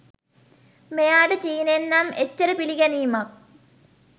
මෙයාට චීනෙන් නම් එච්චර පිළිගැනීමක්